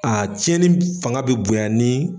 A tiɲɛni fanga bɛ bonya ni